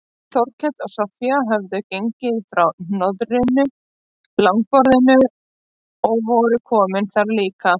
Þórkell og Soffía höfðu gengið frá hroðnu langborðinu og voru komin þar líka.